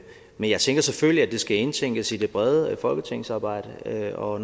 men jeg tænker selvfølgelig at det skal indtænkes i det brede folketingsarbejde og